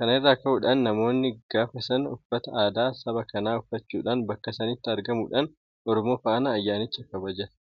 Kana irraa ka'uudhaan namoonni gaafa sana uffata aadaa saba kanaa uffachuudhaan bakka sanatti argamuudhaan Oromoo faana ayyaanicha kabajata.